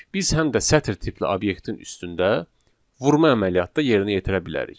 Biz həm də sətr tipli obyektin üstündə vurma əməliyyatda yerinə yetirə bilərik.